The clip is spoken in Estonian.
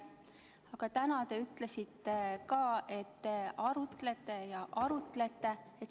Aga täna te ütlesite ka, et te arutlete ja arutlete.